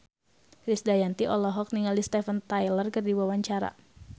Krisdayanti olohok ningali Steven Tyler keur diwawancara